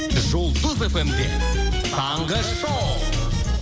жұлдыз фм де таңғы шоу